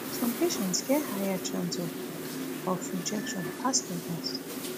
some patients get higher risk of of rejection pass odas